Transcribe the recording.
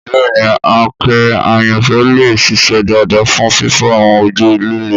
Bẹ́ẹ̀ni, àáké àyànfẹ́ lè ṣiṣẹ́ dáadáa fún fífọ́ àwọn ojú líle.